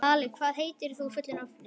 Svali, hvað heitir þú fullu nafni?